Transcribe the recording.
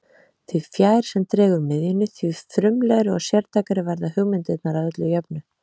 Því fjær sem dregur miðjunni, því frumlegri og sértækari verða hugmyndirnar að öllu jöfnu.